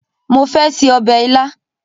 Mo fẹ́ se ọbẹ̀ ilá